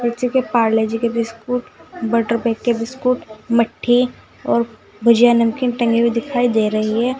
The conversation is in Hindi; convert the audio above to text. पारले जी के बिस्कुट बटर बाइट के बिस्कुट मट्ठी और भुजिया नमकीन टंगी हुई दिखाई दे रही है।